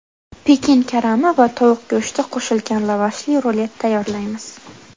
Pekin karami va tovuq go‘shti qo‘shilgan lavashli rulet tayyorlaymiz.